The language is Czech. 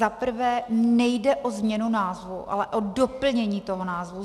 Zaprvé nejde o změnu názvu, ale o doplnění toho názvu.